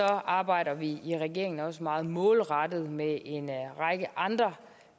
arbejder vi i regeringen også meget målrettet med en række andre